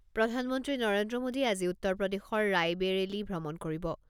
প্ৰধানমন্ত্ৰী নৰেন্দ্ৰ মোদীয়ে আজি উত্তৰ প্ৰদেশৰ ৰাইবেৰেলি ভ্ৰমণ কৰিব।